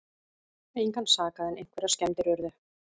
Engan sakaði en einhverjar skemmdir urðu